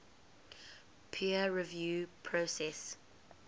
peer review process